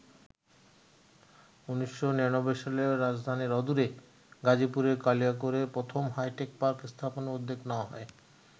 ১৯৯৯ সালে রাজধানীর অদূরে গাজীপুরের কালিয়াকৈরে প্রথম হাইটেক পার্ক স্থাপনের উদ্যোগ নেওয়া হয়।